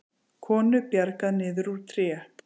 Konu bjargað niður úr tré